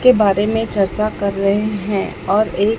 के बारे में चर्चा कर रहे हैं और एक--